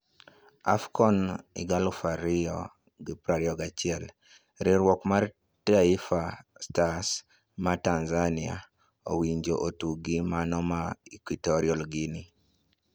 Afcon 2021: Riwruok mar Taifa stars ma Tanzania owinjo otug gi mano ma Equitorial Guinea.